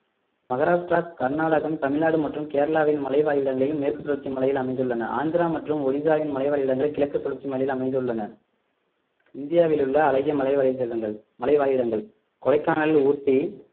மகாராஷ்டிரா கர்நாடகம் தமிழ்நாடு மற்றும் கேரளாவில் மலைவாழ் இடங்களில் மேற்கு தொடர்ச்சி மலையில் அமைந்துள்ளன ஆந்திரா மற்றும் ஒடிசாவின் மலைவாழ் இடங்களை கிழக்கு தொடர்ச்சி மலையில் அமைந்துள்ளன இந்தியாவில் உள்ள அழகிய மலை மலைவாழ் இடங்கள் கொடைக்கானல் ஊட்டி